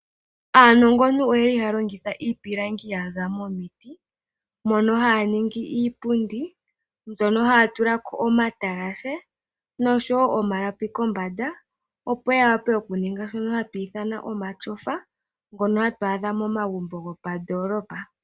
Aanongontu oHaya longitha iipilangi yaza momiti. Ohaya ningi iipundi noha ya tulako omatalashe noshowo omalapi kombanda opo ya longe omatyofa ngono ha ga adhika momagumbo gomoondoolopa